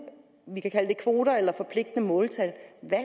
vi kan kalde det kvoter eller forpligtende måltal